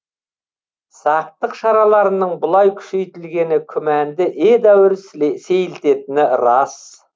сақтық шараларының бұлай күшейтілгені күмәнді едәуір сейілтетіні рас